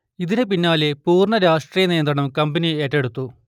ഇതിന് പിന്നാലെ പൂർണ്ണ രാഷ്ട്രീയ നിയന്ത്രണം കമ്പനി ഏറ്റെടുത്തു